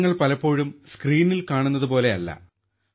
താരങ്ങൾ പലപ്പോഴും സ്ക്രീനിൽ കാണുന്നതുപോലെയല്ല